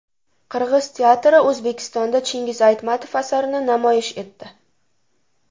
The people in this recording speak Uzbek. Qirg‘iz teatri O‘zbekistonda Chingiz Aytmatov asarini namoyish etdi.